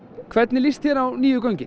hvernig líst þér á nýju göngin